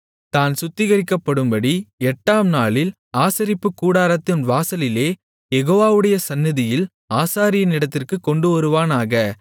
தான் சுத்திகரிக்கப்படும்படி எட்டாம் நாளில் ஆசரிப்புக்கூடாரத்தின் வாசலிலே யெகோவாவுடைய சந்நிதியில் ஆசாரியனிடத்திற்குக் கொண்டுவருவானாக